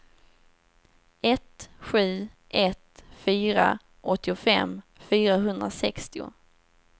ett sju ett fyra åttiofem fyrahundrasextio